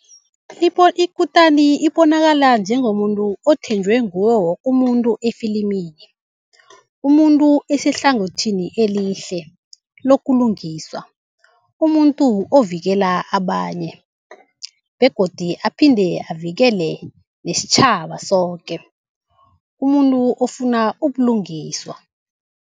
Ikutani ibonakala njengomuntu othenjwe ngiwo woke umuntu efilimini. umuntu osehlangothini elihle lokulungiswa. Umuntu ovikela abanye begodu aphinde avikele nesitjhaba soke, umuntu ofuna ubulungiswa.